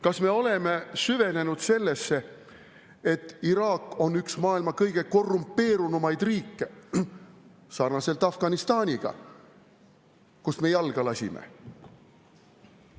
Kas me oleme süvenenud sellesse, et Iraak on üks maailma kõige korrumpeerunumaid riike sarnaselt Afganistaniga, kust me jalga lasime?